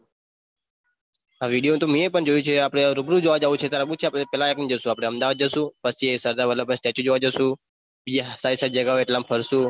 હા video તો મીએ પણ જોયુ છે આપણે રૂબરૂ જોવા જઉ છે તારે આબુ છે આપણે પેલા આપણે જશું અમદાવાદ જશું પછી સરદાર વલ્લભભાઈ statue જોવા જસુ બીજા સારી સારી જગહ એટલાઓમ ફરશું.